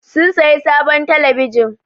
Sun sayi sabon telebijin.